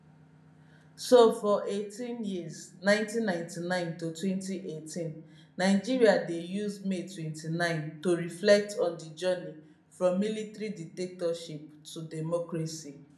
so for 18 years 1999 to 2018 nigeria dey use may 29 to reflect on di journey from military dictatorship to democracy